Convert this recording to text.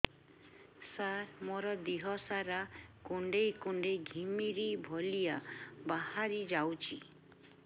ସାର ମୋର ଦିହ ସାରା କୁଣ୍ଡେଇ କୁଣ୍ଡେଇ ଘିମିରି ଭଳିଆ ବାହାରି ଯାଉଛି